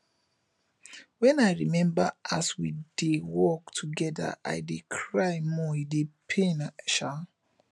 wen i rememba as we dey work togeda i dey cry more e dey pain um